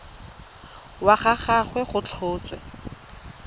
wa ga gagwe go tlhotswe